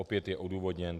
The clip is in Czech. Opět je odůvodněn.